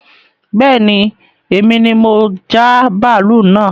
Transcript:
Bẹ́ẹ̀ni èmi ni mo já bàálú naa